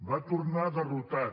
va tornar derrotat